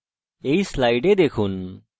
এই slide দেখুন